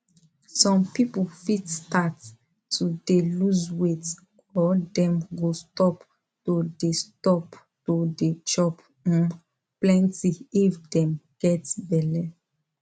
some people fit start to de lose weight or dem go stop to de stop to de chop um plenty if dem get belle